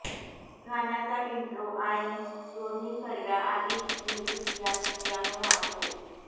गाण्याचा इंट्रो आणि दोन्ही कडव्याआधीचं म्युझिक यांत पियानो वाजतो